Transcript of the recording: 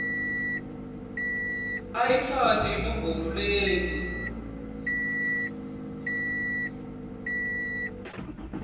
ayitsatse inombolo letsi